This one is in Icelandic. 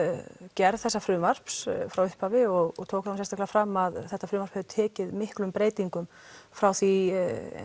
gerð þessa frumvarps frá upphafi og tók það sérstaklega fram að þetta frumvarp hafi tekið miklum breytingum frá því